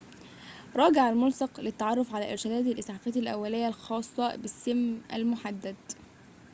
راجع الملصق للتعرف على إرشادات الإسعافات الأولية الخاصة بالسم المحدد